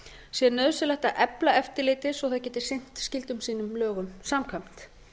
sé nauðsynlegt að efla eftirlitið svo að það geti sinnt skyldum sínum lögum samkvæmt